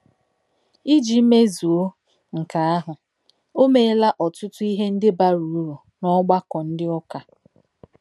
Iji mezuo nke ahụ, o meela ọtụtụ ihe ndị bara uru n’ọgbakọ ndị ụka